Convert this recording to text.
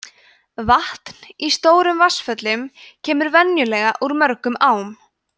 vatn í stórum vatnsföllum kemur venjulega úr mörgum ám